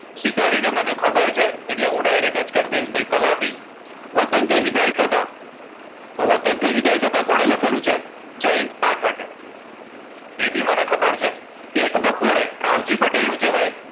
સ્વીકારીને મને ખબર છે એટલે હું direct જ કરીદાઈશ ભઈ કલાપી વતનથી વિદાય થતા તો વતનથી વિદાય થતા કોણે લખેલું છે જયંત પાઠકે એ બી મને ખબર છે એક બપોરે રાવજી પટેલ નું છે ભઈ